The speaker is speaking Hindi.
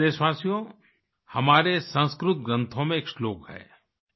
मेरे प्यारे देशवासियो हमारे संस्कृत ग्रंथों में एक श्लोक है